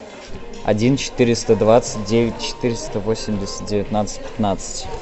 один четыреста двадцать девять четыреста восемьдесят девятнадцать пятнадцать